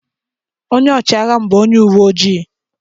Onye ọchịagha m bụ onye uwe ojii.